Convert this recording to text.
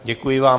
Děkuji vám.